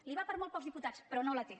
li va per molt pocs diputats però no la té